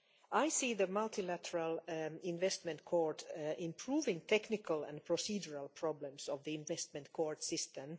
I see the multilateral investment court improving on the technical and procedural problems of the investment court system.